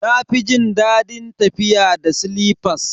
Na fi jin dadin tafiya da silifas.